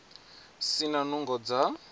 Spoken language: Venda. a si na nungo dza